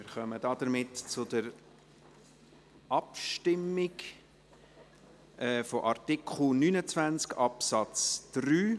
Wir kommen damit zur Abstimmung über Artikel 29 Absatz 3.